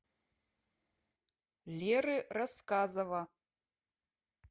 леры рассказова